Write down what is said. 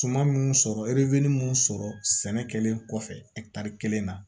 Suman munnu sɔrɔ munnu sɔrɔ sɛnɛ kɛlen kɔfɛ kelen na